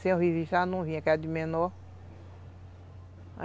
Sem o registro ela não vinha, que era de menor.